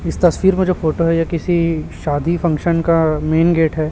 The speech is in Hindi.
इस तस्वीर मे जो फोटो है ये किसी शादी फंक्शन का मेन गेट हैं।